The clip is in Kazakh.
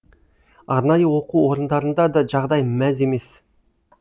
арнайы оқу орындарында да жағдай мәз емес